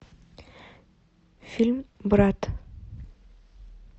фильм брат